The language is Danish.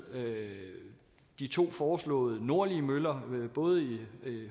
de to foreslåede nordlige møller både i